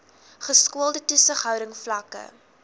geskoolde toesighouding vlakke